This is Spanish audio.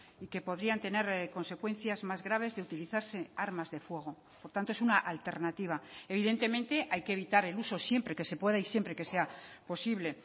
y que podrían tener consecuencias más graves de utilizarse armas de fuego por tanto es una alternativa evidentemente hay que evitar el uso siempre que se pueda y siempre que sea posible